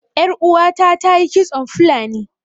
Ƴar uwata ta yi kitson fulani